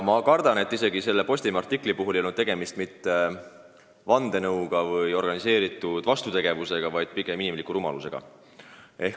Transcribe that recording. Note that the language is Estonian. Ma kardan, et selle Postimehe artikli puhul ei olnud tegemist vandenõu ega organiseeritud vastutegevusega, vaid pigem inimliku rumalusega.